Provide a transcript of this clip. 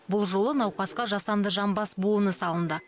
бұл жолы науқасқа жасанды жамбас буыны салынды